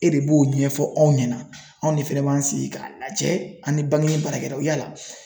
E de b'o ɲɛfɔ anw ɲɛna anw de fɛnɛ b'an sigi ka lajɛ ani bangini baarakɛlaw yala